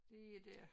Det er det